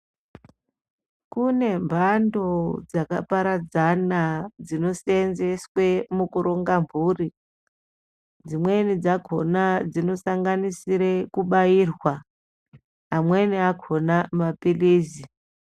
Kune mhando dzakaparadzana dzinoseenzeswa mukuronga mhuri, dzimweni dzakona dzinosanganisira kubairwa, amweni akhona mapilizi.